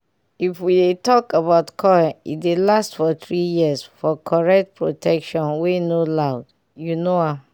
if we dey talk about coil e dey last for 3yrs for correct protection wey no loud u know am